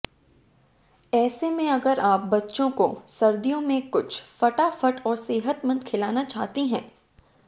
ऐसे में अगर आप बच्चों को सर्दियों में कुछ फटाफट और सेहतमंद खिलाना चाहती हैं